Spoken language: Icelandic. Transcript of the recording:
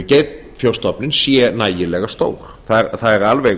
geitfjárstofninn sé nægilega stór það er alveg